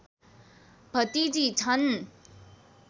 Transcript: भतिजी छन्